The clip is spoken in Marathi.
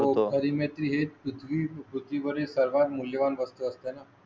शेर पण करतो. आहे सर्वात मूल्य वान वस्तू असताना.